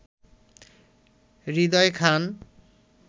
Hridoy Khan